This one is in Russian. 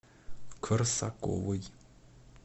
корсаковой